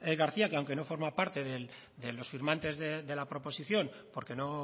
garcía que aunque no forma parte de los firmantes de la proposición porque no